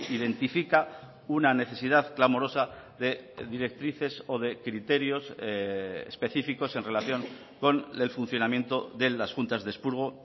identifica una necesidad clamorosa de directrices o de criterios específicos en relación con el funcionamiento de las juntas de expurgo